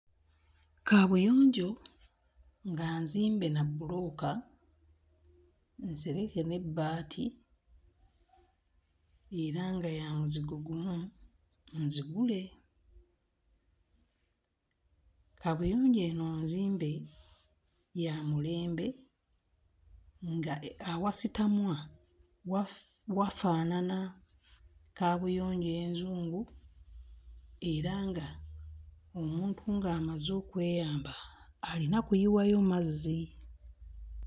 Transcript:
Kaabuyonjo nga nzimbe na bbulooka, nsereke n'ebbaati era nga ya muzigo gumu nzigule. Kaabuyonjo eno nzimbe, ya mulembe, nga awasitamwa wafaanana kaabuyonjo enzungu era nga omuntu ng'amaze okweyamba alina kuyiwayo mazzi.